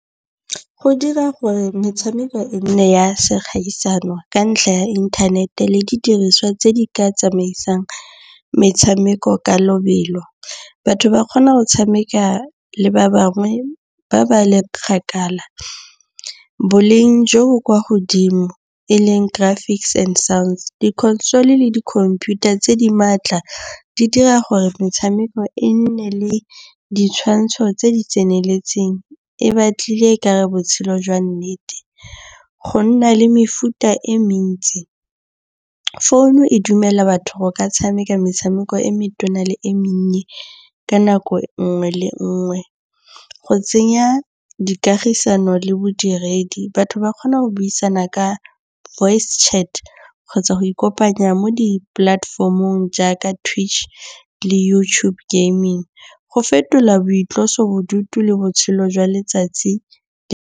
Go dira gore metshameko e nne ya segaisano ka ntlha ya inthanete le didiriswa tse di ka tsamaisang metshameko ka lobelo. Batho ba kgona go tshameka le ba bangwe ba ba le kgakala. Boleng jo bo kwa godimo e leng traffics and sounds, di control-e le dikhomputara tse di maatla di dira gore metshameko e nne le ditshwantsho tse di tseneletseng. E batlile ekare botshelo jwa nnete. Go nna le mefuta e mentsi. Founu e dumela batho ba tshameka metshameko e metona le e monnye ka nako nngwe le nngwe. Go tsenya dikagisano le bodiredi batho ba kgona go buisana ka voice chat kgotsa go ikopanya mo di platform-ong jaaka Twitch le YouTube Gaming. Go fetola boitlosobodutu le botshelo jwa letsatsi.